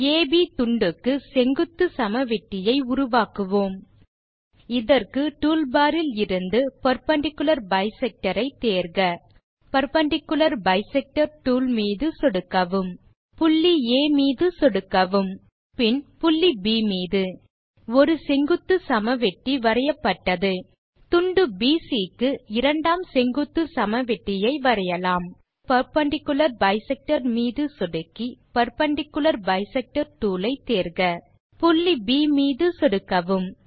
அப் துண்டுக்கு செங்குத்துச் சமவெட்டியை உருவாக்குவோம் இதற்கு டூல் பார் இலிருந்து பெர்பெண்டிக்குலர் பைசெக்டர் ஐ தேர்க பெர்பெண்டிக்குலர் பைசெக்டர் டூல் மீது சொடுக்கவும் புள்ளி ஆ மீது சொடுக்கவும் பின் புள்ளி ப் மீது ஒரு செங்குத்துச் சமவெட்டி வரையப்பட்டது துண்டு பிசி க்கு இரண்டாம் செங்குத்துச் சமவெட்டியை வரையலாம் டூல் பார் இலிருந்து பெர்பெண்டிக்குலர் பைசெக்டர் மீது சொடுக்கி பெர்பெண்டிக்குலர் பைசெக்டர் டூல் ஐ தேர்க புள்ளி ப் மீது சொடுக்கவும்